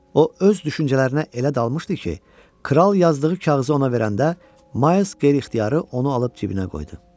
O öz düşüncələrinə elə dalmışdı ki, kral yazdığı kağızı ona verəndə Ma qeyri-ixtiyari onu alıb cibinə qoydu.